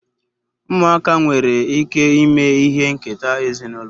Muaka nwere ike ime ihe nketa ezinulo